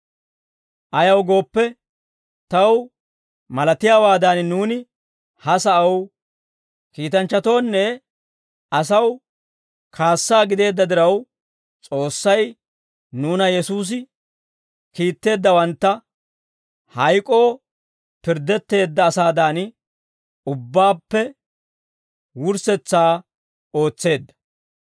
Ayaw gooppe, taw malatiyaawaadan, nuuni ha sa'aw, kiitanchchatoonne asaw kaassaa gideedda diraw, S'oossay nuuna Yesuusi kiitteeddawantta hayk'oo pirddetteedda asaadan, ubbaappe wurssetsaa ootseedda.